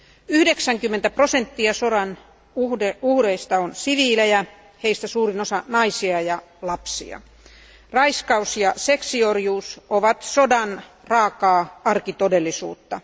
90 prosenttia sodan uhreista on siviilejä, heistä suurin osa naisia ja lapsia. Raiskaus ja seksiorjuus ovat sodan raakaa arkitodellisuutta.